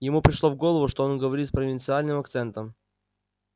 ему пришло в голову что он говорит с провинциальным акцентом